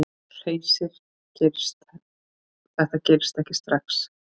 Hersir: Þetta gerist ekki strax?